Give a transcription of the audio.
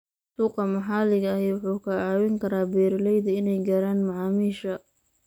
Suuqa maxaliga ahi wuxuu ka caawin karaa beeralayda inay gaaraan macaamiisha.